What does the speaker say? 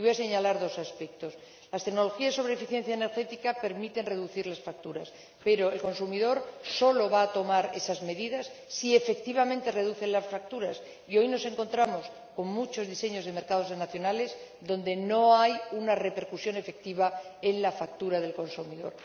Y voy a señalar dos aspectos las tecnologías sobre eficiencia energética permiten reducir las facturas, pero el consumidor solo va a tomar esas medidas si efectivamente reducen las facturas, y hoy nos encontramos con muchos diseños de mercados nacionales en los que estas no conllevan una repercusión efectiva en la factura del consumidor.